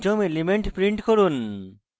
পঞ্চম element print করুন